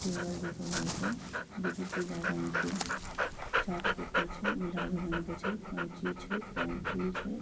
Table दिख रहल छै जे की पीला रंग के चाट पेपर छै गुलाबी रंग के छै कैची छै पेंसिल छै।